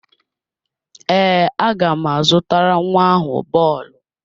Ee, aga m azụtara nwa ahụ bọọlụ.